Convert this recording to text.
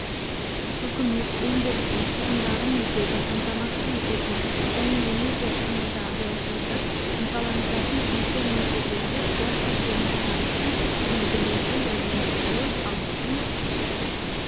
үкімет өндірістің шығындарын өтеуді қамтамасыз ететін және энергия тұтынуды азайтуды ынталандыратын тиісті мөлшерлерде қуат көздеріне тарифтер белгілеуге жәрдемдесуі халықтың